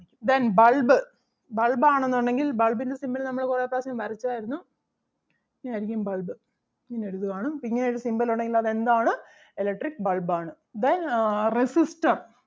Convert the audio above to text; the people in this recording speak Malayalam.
Then bulb bulb ആണെന്നുണ്ടെങ്കിൽ bulb ൻ്റെ symbol നമ്മൾ കുറെ പ്രാവശ്യം വരച്ചാരുന്നു ഇങ്ങനെ അരിക്കും bulb ഇങ്ങനെ എഴുതുവാണ്‌ അപ്പം ഇങ്ങനെ ഒരു symbol ഉണ്ടെങ്കിൽ അത് എന്താണ് electric bulb ആണ്. Then ആഹ് resistor